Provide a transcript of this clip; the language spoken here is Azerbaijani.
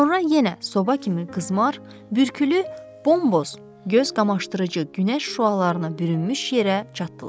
Sonra yenə soba kimi qızmar, bürkülü, bomboz, göz qamaşdırıcı günəş şüalarına bürünmüş yerə çatdılar.